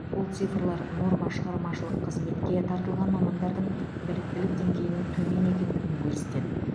бұл цифрлар норма шығармашылық қызметке тартылған мамандардың біліктілік деңгейінің төмен екендігін көрсетеді